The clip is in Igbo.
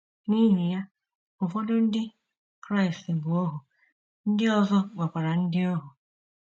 N’ihi ya, ụfọdụ ndị Kraịst bụ ohu, ndị ọzọ nwekwara ndị ohu.